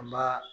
An b'a